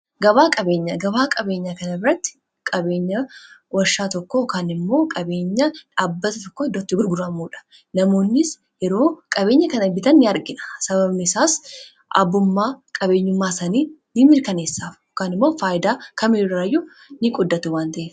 Gabaa qabeenyaa kana irratti qabeenya warshaa tokko yookaan immoo qabeenya dhaabbata tokko iddootti gurguramuudha. Namoonnis yeroo qabeenya kana bitan ni argina sababni isaas abummaa qabeenyummaa sanii ni mirkaneessaaf yookan immoo faayidaa kamiiiraayyuu ni qooddatu wan ta'eef.